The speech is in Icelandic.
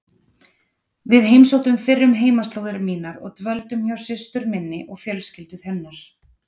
Við heimsóttum fyrrum heimaslóðir mínar og dvöldum hjá systur minni og fjölskyldu hennar.